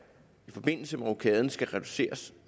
i forbindelse med rokaden skal reduceres